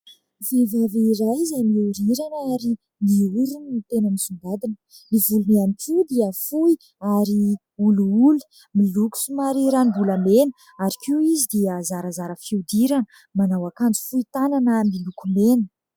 Vehivavy iray izay mihorirana ary ny orony no tena misongadina. Ny volony ihany koa dia fohy ary olioly, miloko somary ranom-bolamena ary koa izy dia zarazara fihodirana, manao akanjo fohy tanana miloko mena.